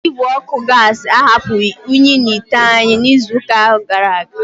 Igwe ọkụ gasi ahapụghị unyi n'ite anyị n'izu gara aga.